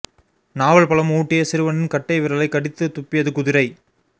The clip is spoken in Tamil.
நாவல் பழம் ஊட்டிய சிறுவனின் கட்டை விரலை கடித்து துப்பியது குதிரை